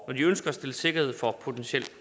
ønsker at stille sikkerhed for potentiel